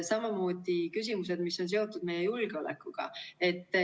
Samamoodi küsimused, mis on seotud meie julgeolekuga.